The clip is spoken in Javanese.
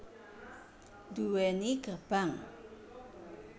Duweni gerbang